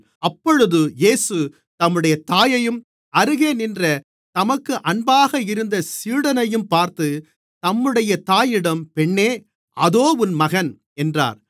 அப்பொழுது இயேசு தம்முடைய தாயையும் அருகே நின்ற தமக்கு அன்பாக இருந்த சீடனையும் பார்த்து தம்முடைய தாயிடம் பெண்ணே அதோ உன் மகன் என்றார்